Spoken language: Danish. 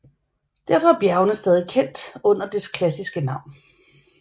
Derfor er bjergene stadig kendt under dets klassiske navn